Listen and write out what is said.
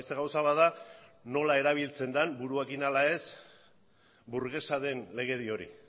gauza bat da nola erabiltzen den buruarekin ala ez burgesa den legedi hori